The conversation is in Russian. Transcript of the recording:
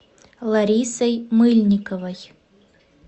ларисой мыльниковой